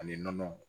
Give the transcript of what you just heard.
Ani nɔnɔ